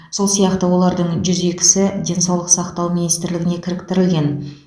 сол сияқты олардың жүз екісі денсаулық сақтау министрлігіне кіріктірілген